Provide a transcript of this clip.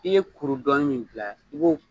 I ye kuru dɔn in min bila i